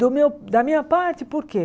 Do meu da minha parte, por quê?